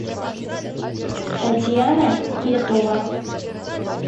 татьяна кетова